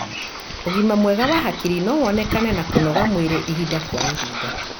Ugima mwega wa hakiri no wonekana na kũnogora mwĩri ihinda kwa ihinda.